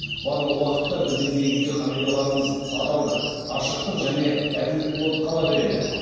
барлық уақытта біздің негізгі қағидаларымыз адалдық ашықтық және әділдік болып қала береді